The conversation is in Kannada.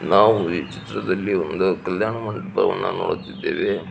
ನಾವು ಈ ಛತ್ರದಲ್ಲಿ ಒಂದು ಕಲ್ಯಾಣ ಮಂಟಪವನ್ನ ನೋಡುತ್ತಿದ್ದೇವೆ.